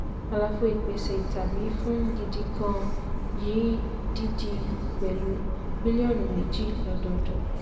àlàfo ìpèsè tàbí fún gidi gan-an yìí dídí pẹ̀lú bílíọ̀nu méjì lọ́dọọdún.